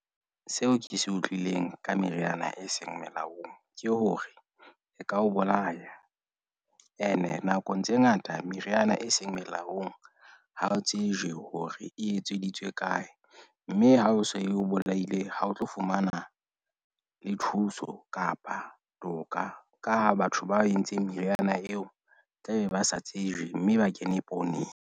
Seo ke se utlwileng ka meriana e seng melaong ke hore e ka o bolaya, ene nakong tse ngata meriana e seng melaong. Ha o tsejwe hore e etseditswe kae. Mme ha e so e o bolaile ha o tlo fumana le thuso kapa toka, ka ha batho baco entseng meriana eo, tlabe ba sa tsejwe mme ba kene pooneng.